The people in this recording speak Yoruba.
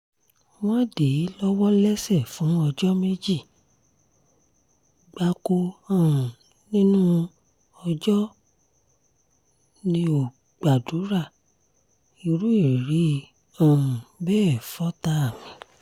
wọ́n dè mí lọ́wọ́ lẹ́sẹ̀ fún ọjọ́ méjì gbáko um nínú ọjọ́ mi ò gbàdúrà irú ìrírí um bẹ́ẹ̀ fọ́tàá mi